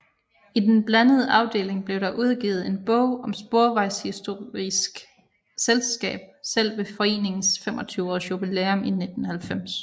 I den blandede afdeling blev der udgivet en bog om Sporvejshistorisk Selskab selv ved foreningens 25 års jubilæum i 1990